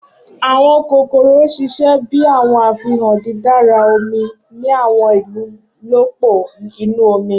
Awọn kokoro ṣiṣẹ bi awọn afihan didara omi ni awọn ilolupo inu omi.